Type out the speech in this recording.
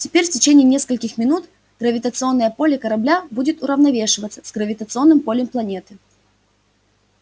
теперь в течение нескольких минут гравитационное поле корабля будет уравновешиваться с гравитационным полем планеты